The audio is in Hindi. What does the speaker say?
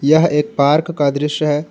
यह एक पार्क का दृश्य है।